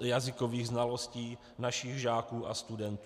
jazykových znalostí našich žáků a studentů.